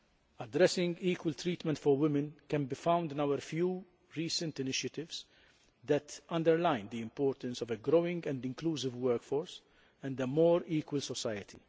Addressing equal treatment for women can be found in our few recent initiatives that underline the importance of a growing and inclusive workforce and a more equal society.